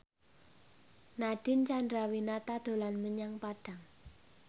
Nadine Chandrawinata dolan menyang Padang